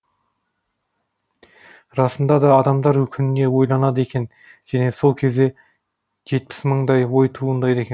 расында да адамдар күніне ойланады екен және сол кезде жетпіс мындай ой туындайды екен